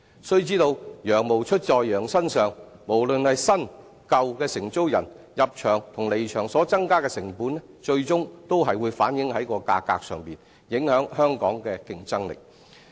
須知道，羊毛出在羊身上，無論是新、舊承租人，入場及離場所增加的成本，最終還是會反映於價格上，影響香港的競爭力。